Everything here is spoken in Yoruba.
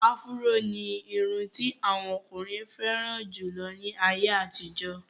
Áfúró ní irun ti àwọn ọkùnrin fẹ́ràn jù lọ ní àyè àtijọ́.